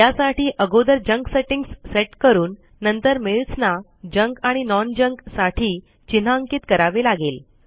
यासाठी अगोदर junk settings set करून नंतर मेल्स ना जंक आणि नॉन जंक साठी चिन्हांकित करावे लागेल